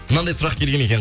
мынаңдай сұрақ келген екен